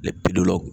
bidɔw la